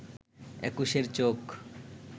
একুশের চোখ